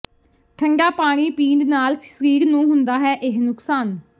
ਠੰਡਾ ਪਾਣੀ ਪੀਣ ਨਾਲ ਸਰੀਰ ਨੂੰ ਹੁੰਦਾ ਹੈ ਇਹ ਨੁਕਸਾਨ